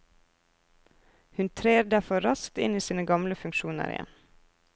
Hun trer derfor raskt inn i sine gamle funksjoner igjen.